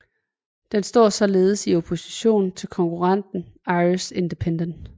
Den står således i opposition til konkurrenten Irish Independent